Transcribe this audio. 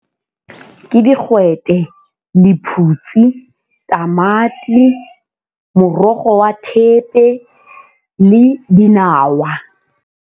Ke digwete, lephutsi, tamati, morogo wa thepe le dinawa.